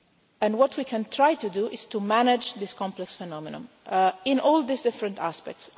And what we can try to do is to manage this complex phenomenon in all these different aspects.